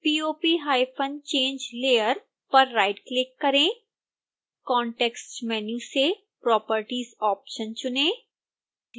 popchange layer पर right click करें context menu से properties ऑप्शन चुनें